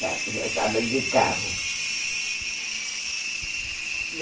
Já já estava de carro. E a